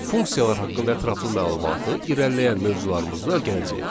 Funksiyalar haqqında ətraflı məlumatı irəliləyən mövzularımızda öyrənəcəyik.